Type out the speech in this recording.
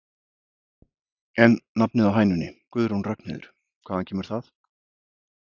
En nafnið á hænunni Guðrún Ragnheiður, hvaðan kemur það?